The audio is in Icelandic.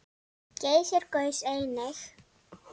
Geysir gaus einnig.